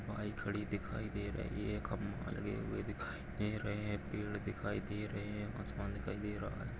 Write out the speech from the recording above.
वहा एक खड़ी दिखाई दे रही है खंबा लगे हुए दिखाई दे रहे है पेड दिखाई दे रहे है आसमान दिखाई दे रहा है।